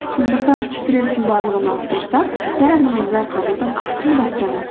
сондықтан стресстің барлығын алып тастап барлығын жай қабылдап ақырын бастаңыз